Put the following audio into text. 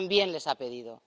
les ha pedido.